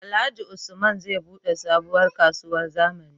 Alhaji usman zai buɗe sabuwar kasuwar zamani